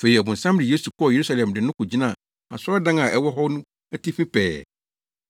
Afei ɔbonsam de Yesu kɔɔ Yerusalem de no kogyinaa asɔredan a ɛwɔ hɔ no atifi pɛɛ,